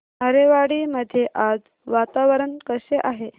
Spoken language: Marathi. आरेवाडी मध्ये आज वातावरण कसे आहे